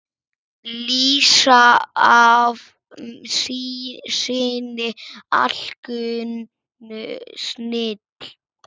lýsa af sinni alkunnu snilld.